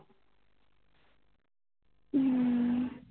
ਹੱਮ